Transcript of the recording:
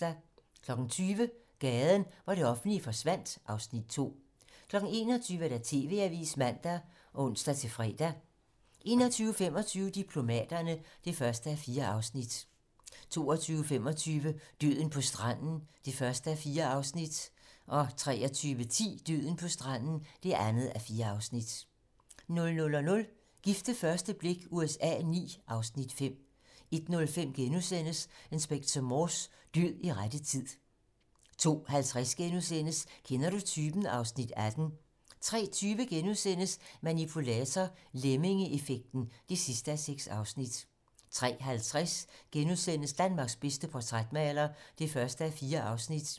20:00: Gaden, hvor det offentlige forsvandt (Afs. 2) 21:00: TV-Avisen (man og ons-fre) 21:25: Diplomaterne (1:4) 22:25: Døden på stranden (1:4) 23:10: Døden på stranden (2:4) 00:00: Gift ved første blik USA IX (Afs. 5) 01:05: Inspector Morse: Død i rette tid * 02:50: Kender du typen? (Afs. 18)* 03:20: Manipulator - Lemmingeeffekt (6:6)* 03:50: Danmarks bedste portrætmaler (1:4)*